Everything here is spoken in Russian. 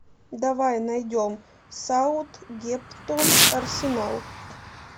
давай найдем саутгемптон арсенал